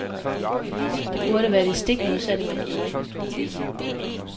Det burde være det stik modsatte man gjorde.